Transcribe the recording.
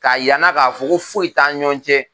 K'a yann'a k'a fo ko foyi t'an ni ɲɔgɔn cɛ